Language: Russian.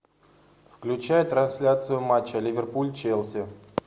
включай трансляцию матча ливерпуль челси